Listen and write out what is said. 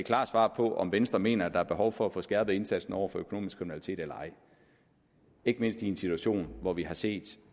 klart svar på om venstre mener at der er behov for at få skærpet indsatsen over for økonomisk kriminalitet eller ej ikke mindst i en situation hvor vi har set